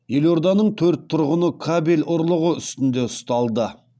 елорданың төрт тұрғыны кабель ұрлығы үстінде ұсталды